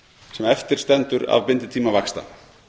sem eftir stendur af binditíma vaxta